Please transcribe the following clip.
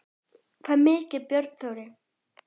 Hvað sagði Björn Þorri?